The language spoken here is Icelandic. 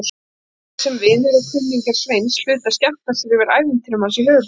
Mikið sem vinir og kunningjar Sveins hlutu að skemmta sér yfir ævintýrum hans í höfuðborginni.